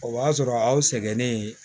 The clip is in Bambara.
O b'a sɔrɔ aw sɛgɛnnen